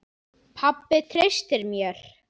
Pabbi treysti mér.